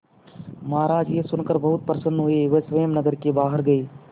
महाराज यह सुनकर बहुत प्रसन्न हुए वह स्वयं नगर के बाहर गए